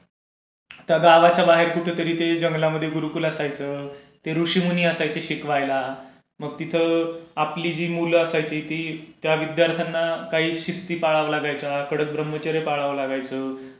गावाच्या बाहेर जंगलमध्ये कुठेतरी गुरुकुल असायचं. ते ऋषीमुनी असायचे शिकवायला. तिथे आपली जी मुलं असायची ती... त्या विद्यार्थ्यांना काही शिस्ती पाळाव्या लागायच्या. कडक ब्रह्मचर्य पाळावं लागायचं.